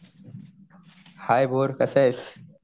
हाय भोर कसा आहेस?